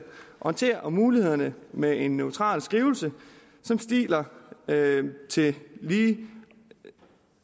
orientere om mulighederne med en neutral skrivelse som stiller alle lige og